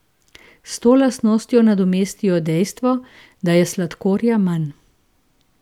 S to lastnostjo nadomestijo dejstvo, da je sladkorja manj.